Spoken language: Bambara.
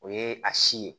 O ye a si ye